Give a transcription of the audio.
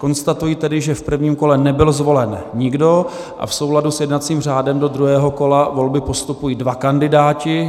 Konstatuji tedy, že v prvním kole nebyl zvolen nikdo, a v souladu s jednacím řádem do druhého kola volby postupují dva kandidáti.